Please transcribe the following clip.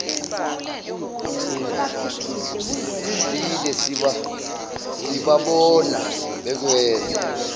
idlile sibabona bekwenza